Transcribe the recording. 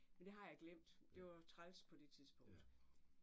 Men det har jeg glemt. Det var træls på det tidspunkt